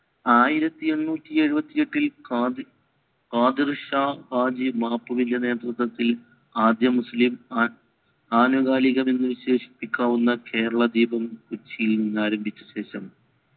അയിരത്തി എണ്ണൂറ്റി എഴുവത്തി എട്ടിൽ നാദിർഷ ഹാജ്ജി നേതൃത്വത്തിൽ ആദ്യ മുസ്ലിം അനുകളില എന്ന് വിശേഷിപ്പിക്കാവുന്ന കേരള ദീപം കൊച്ചിയിൽ ആരംഭിച്ച ശേഷം